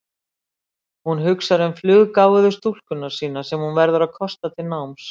Hún hugsar um fluggáfuðu stúlkuna sína sem hún verður að kosta til náms.